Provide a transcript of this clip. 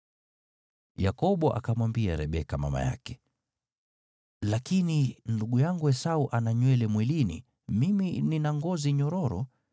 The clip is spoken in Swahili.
Yakobo akamwambia Rebeka mama yake, “Lakini ndugu yangu Esau ana nywele mwilini, mimi nina ngozi nyororo.